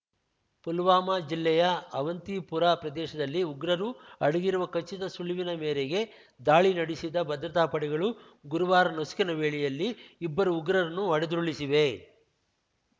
ಪುಲ್ವಾಮಾ ಜಿಲ್ಲೆಯ ಅವಂತಿಪುರಾ ಪ್ರದೇಶದಲ್ಲಿ ಉಗ್ರರು ಅಡಗಿರುವ ಖಚಿತ ಸುಳಿವಿನ ಮೇರೆಗೆ ದಾಳಿ ನಡೆಸಿದ ಭದ್ರತಾ ಪಡೆಗಳು ಗುರುವಾರ ನಸುಕಿನ ವೇಳೆಯಲ್ಲಿ ಇಬ್ಬರು ಉಗ್ರರನ್ನು ಹೊಡೆದುರುಳಿಸಿವೆ